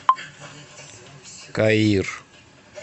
каир